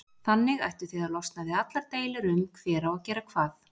Þannig ættuð þið að losna við allar deilur um hver á að gera hvað.